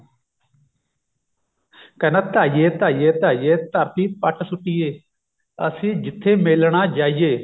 ਕਹਿੰਦਾ ਧਾਈਏ ਧਾਈਏ ਧਾਈਏ ਧਰਤੀ ਪੱਟ ਸੁੱਟੀਏ ਅਸੀਂ ਜਿੱਥੇ ਮੇਲਣਾ ਜਾਈਏ